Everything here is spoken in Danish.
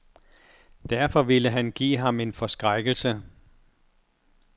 Derfor ville han give ham en forskrækkelse.